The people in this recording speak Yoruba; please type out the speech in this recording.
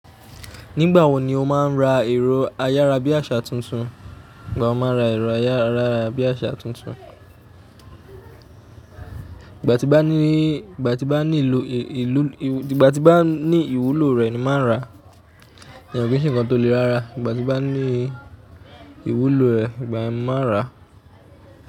Nígbà wo ni o máa ra ẹ̀rọ ayára bí àṣá tuntun? Ìgbà wo máa ń ra. Nígbà tí bá ní ìwúlò rẹ̀ ni máa ń ra. Kò kí ń ṣe nǹkan tó le rarà. Nígbà tí bá ní ìwúlò ẹ̀ ìgbà yẹ́n máa rà.